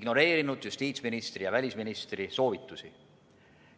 ignoreerinud justiitsministri ja välisministri soovitusi.